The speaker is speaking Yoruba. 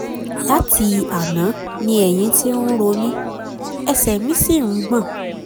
lati Àná ni Ẹ̀yìn ti n ro mi, ẹsẹ̀ mi si n gbọ̀n